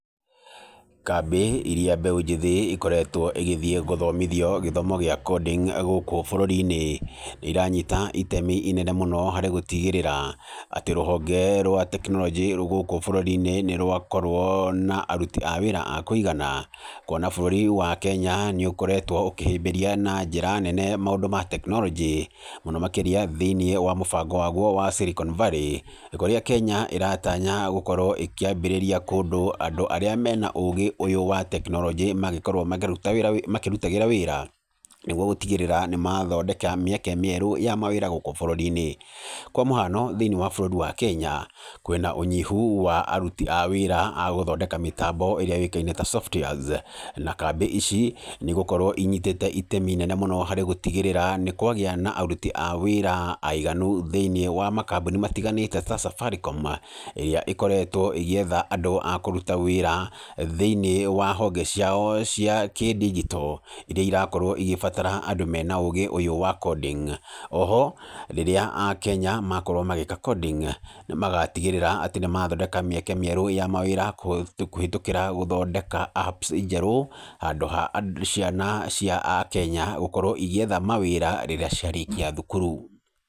Kambĩ ĩrĩa mbeũ njĩthĩ ĩkoretwo ĩgĩthiĩ gũthomithio gĩthomo gĩa coding gũkũ bũrũri-inĩ, iranyita itemi inene mũno harĩ gũtigĩrĩra atĩ rũhonge rwa tekinoronjĩ gũkũ bũrũri-inĩ atĩ nĩ rwakorwo na aruti a wĩra a kũigana kuona bũrũri wa Kenya nĩ ũkoretwo ũkĩhĩmbĩria na njĩra nene maũndũ ma tekinoronjĩ, mũno makĩria thĩinĩ wa mũbango waguo wa Silicon Valley, kũrĩa Kenya ĩratanya gũkorwo ĩkĩambĩrĩria kũndũ andũ arĩa me na ũũgĩ ũyũ wa tekinoronjĩ mangĩkorwo makĩrutĩragĩra wĩra nĩguo gũtigĩrĩra nĩ mathondeka mĩeke mĩerũ ya mawĩra gũkũ bũrũri-inĩ. Kwa mũhano thĩ-inĩ wa bũrũri wa Kenya, kwĩna ũnyihu wa aruti a wĩra a gũthondeka mĩtambo ĩrĩa yũĩkaine ta softwares, na kambĩ ici nĩ igũkorwo inyitĩte itemi inene mũno harĩ gũtigĩrĩra nĩ kwagĩa na aruti a wĩra aiganu thĩ-inĩ wa makambuni matiganĩte ta Safaricom, ĩrĩa ĩkoretwo ĩgĩetha andũ a kũruta wĩra thĩ-inĩ wa honge ciao cia kĩ-ndigito, iria irakorwo igĩbatara andũ me na ũũgĩ ũyũ wa coding, o ho rĩrĩa akenya makorwo magĩka coding nĩ magatigĩrĩra atĩ nĩ mathondeka mĩeke mĩerũ ya mawĩra kũhĩtũkĩra gũthondeka apps njerũ handũ ha ciana cia akenya gũkorwo igĩietha mawĩra rĩrĩa ciarĩkia thukuru.